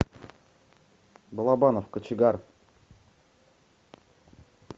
балабанов кочегар